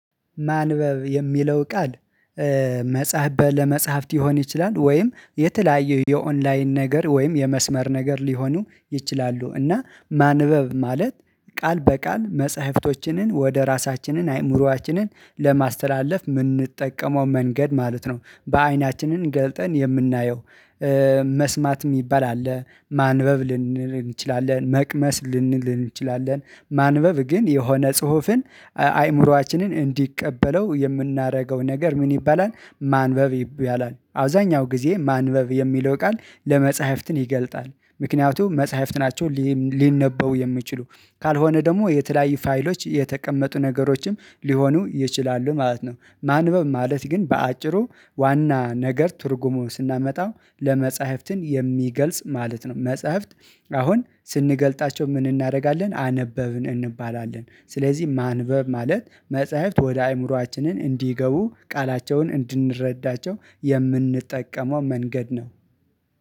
ማንበብ የሚለው ቃል መጽሐፍ ለመጽሐፍት ይሆን ይችላል ወይም የተለያዩ የኦንላይን ነገር ወይም የመስመር ነገር ሊሆኑ ይችላሉ እና ማንበብ ማለት ቃል በቃል መጽሐፍቶችንን ወደ ራሳችንን አይምሮአችንን ለማስተላለፍ ምንጠቀመው መንገድ ማለት ነው። በአይናችንን ገልጠን የምናየው መስማት የሚባል አለ ማንበብ ልንል እንችላለን። መቅመስ ልንል እንችላለን። ማንበብ ግን የሆነ ጽሁፍን አይምሮአችንን እንዲቀበለው የምናደርገው ነገር ምን ይባላል ማንበብ ይባላል። አብዛኛው ጊዜ ማንበብ የሚለው ቃል ለመጽሐፍትን ይገልጣል ምክንያቱም መጽሐፍት ናቸው ሊነበቡ የሚችሉ ካልሆነ ደግሞ የተለያዩ ፋይሎች የተቀመጡ ነገሮችም ሊሆኑ ይችላሉ ማለት ነው። ማንበብ ማለት ግን በአጭሩ ዋና ነገር ትርጉሙ ስናመጣው ለመጽሐፍትን የሚገልጽ ማለት ነው። መጽሐፍት አሁን ስንገልጣቸው ምን እናደርጋለን አነበብን እንባላለን። ስለዚህ ማንበብ ማለት መጽሐፍት ወደ አእምሮአችንን እንዲገቡ ቃላቸውን እንድንረዳቸው የምንጠቀመው መንገድ ነው።